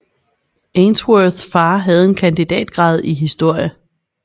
Ainsworth far havde en kandidatgrad i historie